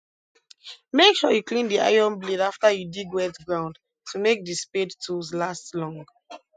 make sure you clean the iron blade after you dig wet ground to make the spade tools last long